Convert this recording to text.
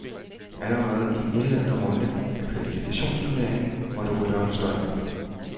Allerede i den indledende runde af kvalifikationsturneringen måtte rytteren stå af.